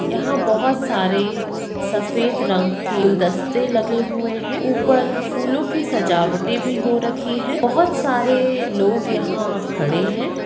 यहाँ बहुत सारे सफेद रंग की फूल दस्ते लगे हुए है ऊपर फूलों की भी सजावटें हो रखी है बहुत सारे लोग यहाँ खड़े है।